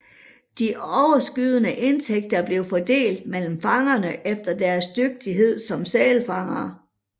De overskydende indtægter blev fordelt mellem fangerne efter deres dygtighed som sælfangere